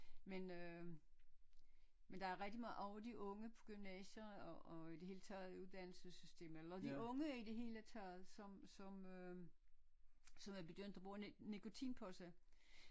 Men øh men der er rigtig meget over de unge på gymnasier og og i det hele taget i uddannelsessystemet eller de unge i det hele taget som som øh som er begyndt at bruge nikotinposer